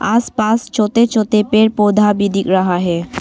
आसपास छोटे छोटे पेड़ पौधा भी दिख रहा है।